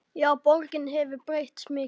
Já, borgin hefur breyst mikið.